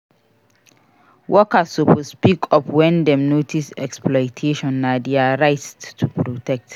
Workers suppose speak up wen dem notice exploitation. Na dia rights to protect.